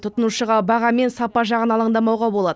тұтынушыға баға мен сапа жағын алаңдамауға болады